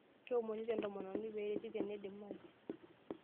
Keomonito entomononi pee ereti tenidimayu.